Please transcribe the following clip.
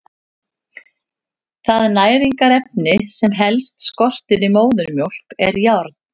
Það næringarefni sem helst skortir í móðurmjólk er járn.